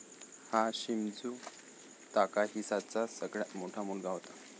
हा शिमझू ताकाहीसाचा सगळ्यात मोठा मुलगा होता.